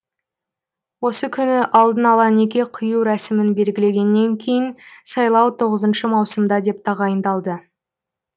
осы күні алдын ала неке қию рәсімін белгілегеннен кейін сайлау тоғызыншы маусымда деп тағайындалды